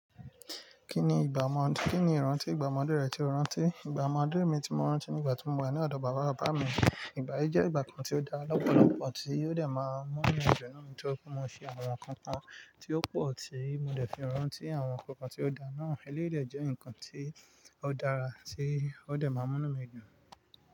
Kí ni ìgbà ọmọ, kí ni ìrántí ìgbà ọmọdé rẹ tí o rántí? Ìgbà ọmọdé mi tí mo rántí nígbà tí mo wa ní ọ̀dọ̀ bàbá bàbá mi. Ìgbà yí jẹ́ ìgbà kan tí ó dá lọ́pọ̀lọ́pọ̀ tí ó dẹ̀ máa mú inú mi dùn náà ni tí ó je pe mo fi àwọn nǹkan kan tí ó pọ̀ tí mo dẹ̀ fí rántí àwọn ǹkan kan tí ó dá náà. Eléyii de jẹ́ nǹkan tí ó dára tí ó dẹ̀ máa mú inú mi dùn.